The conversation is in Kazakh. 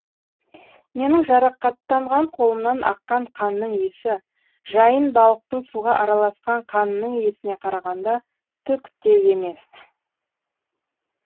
менің жарақаттанған қолымнан аққан қанның иісі жайын балықтың суға араласқан қанының иісіне қарағанда түк те емес